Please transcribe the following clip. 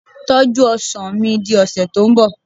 tọju ọsàn mi di ọsẹ ti nbọ